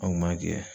An kun b'a jɛ